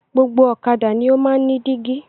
Gbogbo ọ̀kadà ni o máa ń ní dígí.